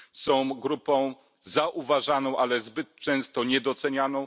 Są grupą zauważaną, ale zbyt często niedocenianą.